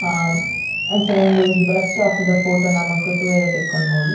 ಅಹ್ ಅಂಚನೆ ಉಂದು ಒಂಜಿ ಬಸ್ಸ್ ಸ್ಟೋಪ್ ದ ಫೊಟೊ ನಮಕ್ ತೂವರೆ ತಿಕ್ಕುಂಡು ಮೂಲು.